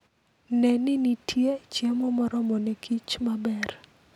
Ne ni nitie chiemo moromo ne kich maber.